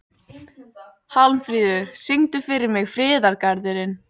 Hjálmfríður, syngdu fyrir mig „Friðargarðurinn“.